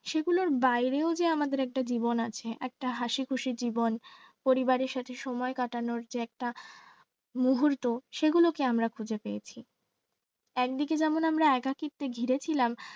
সেগুলোর বাইরে যে একটা আমাদের জীবন আছে একটা হাসিখুশি জীবন পরিবারের সাথে সময় কাটানোর যে একটা মুহূর্ত সেগুলোকে আমরা খুঁজে পেয়েছি। একদিকে যেমন আমরা একাকিত্বে ঘিরে ছিলাম